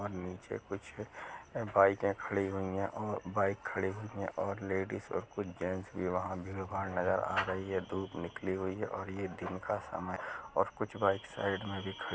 और नीचे कुछ बाइके खड़ी हुई हैं औ बाइक खड़ी हुई हैं और लेडीज और कुछ जेंट्स की वहाँ भीडभाड नजर आ रही है धूप निकली हुई है और ये दिन का समय है और कुछ बाइक साइड में भी ख--